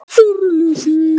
Fyrri hluti.